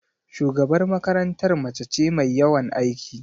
Shugabar makarantar mace ce mai yawan aiki.